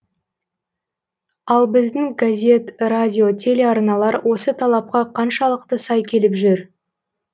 ал біздің газет радио телеарналар осы талапқа қаншалықты сай келіп жүр